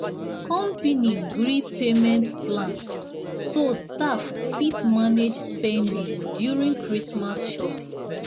company gree payment plan so staff fit manage spending during christmas shopping.